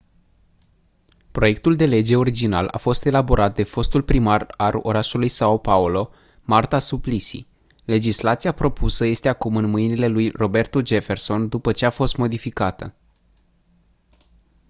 proiectul de lege original a fost elaborat de fostul primar al orașului são paulo marta suplicy. legislația propusă este acum în mâinile lui roberto jefferson după ce a fost modificată